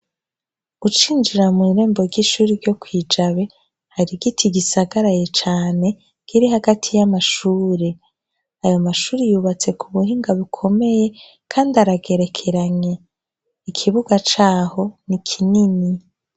Ucinjira mw'irembo ry'ishure ryo kw'ijabe, hari igiti gisagaraye cane, kiri hagati y'amashure. Ayo mashure yubatse ku buhinga bukomeye kandi aragerekeranye. Ikibuga caho ni kinini.